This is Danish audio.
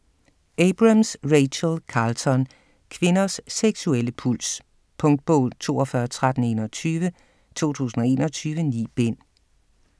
Abrams, Rachel Carlton: Kvinders seksuelle puls Punktbog 421321 2021. 9 bind.